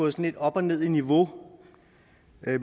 lidt op og ned i niveau